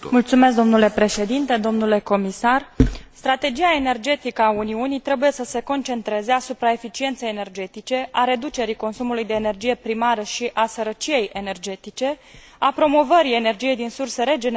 Strategia energetică a Uniunii trebuie să se concentreze asupra eficienței energetice, a reducerii consumului de energie primară și a sărăciei energetice, a promovării energiei din surse regenerabile și a securității energetice a Uniunii.